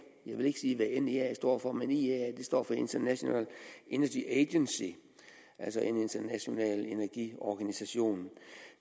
vil ikke sige hvad nea står for men iea står for international energy agency altså en international energiorganisation